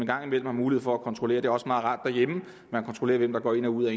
gang imellem har mulighed for kontrollere det er også meget rart derhjemme hvem der går ind og ud af